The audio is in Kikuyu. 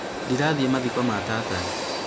ndĩrathiĩ mathiko ma tata